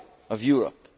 the very Why?'